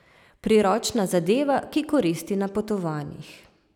Priročna zadeva, ki koristi na potovanjih.